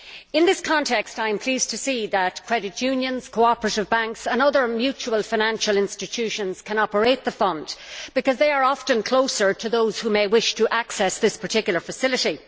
In this context, I am pleased to see that credit unions, cooperative banks and other mutual financial institutions can operate the fund, because they are often closer to those who may wish to access this particular facility.